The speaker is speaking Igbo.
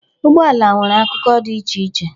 Ụgbọala nwere akụkụ dị iche iche.